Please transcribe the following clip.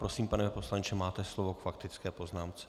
Prosím, pane poslanče, máte slovo k faktické poznámce.